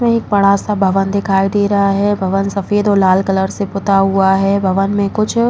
इसमे एक बड़ा सा भवन दिखाई दे रहा है भवन सफेद और लाल कलर से पुता हुआ है भवन मे कुछ---